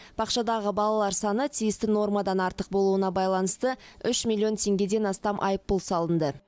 бақшадағы балалар саны тиісті нормадан артық болуына байланысты үш миллион теңгеден астам айыппұл салынды